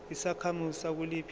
uyisakhamuzi sakuliphi izwe